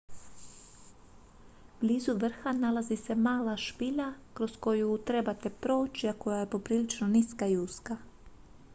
blizu vrha nalazi se mala špilja kroz koju trebate proći a koja je poprilično niska i uska